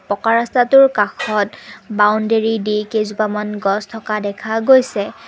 পকা ৰস্তাটোৰ কাষত বাওন্দেৰি দি কেইজোপামান গছ থকা দেখা গৈছে।